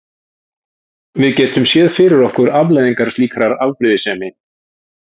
Við getum séð fyrir okkur afleiðingar slíkrar afbrýðisemi.